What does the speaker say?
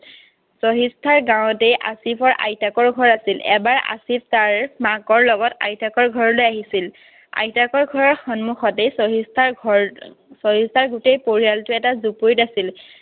চহিষ্ঠাৰ গাঁৱতে আছিফৰ আইতাকৰ ঘৰ আছিল। এবাৰ আছিফ তাৰ মাকৰ লগত আইতাকৰ ঘৰলৈ আহিছিল। আইতাকৰ ঘৰৰ সন্মুখতেই চহিষ্ঠাৰ ঘৰ। চহিষ্ঠাৰ গোটেই পৰিয়ালটো এটা জুপুৰিত আছিল।